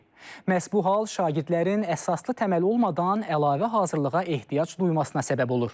Məhz bu hal şagirdlərin əsaslı təməl olmadan əlavə hazırlığa ehtiyac duymasına səbəb olur.